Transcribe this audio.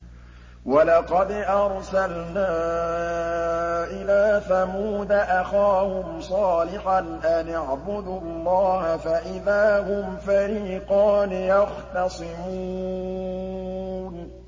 وَلَقَدْ أَرْسَلْنَا إِلَىٰ ثَمُودَ أَخَاهُمْ صَالِحًا أَنِ اعْبُدُوا اللَّهَ فَإِذَا هُمْ فَرِيقَانِ يَخْتَصِمُونَ